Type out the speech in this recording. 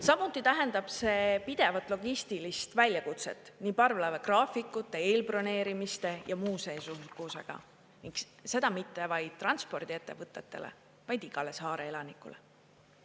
Samuti tähendab see pidevat logistilist väljakutset nii parvlaeva graafikute, eelbroneerimiste ja muu seesugusega, ning seda mitte vaid transpordiettevõtetele, vaid igale saare elanikule.